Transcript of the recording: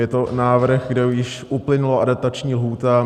Je to návrh, kde již uplynula adaptační lhůta.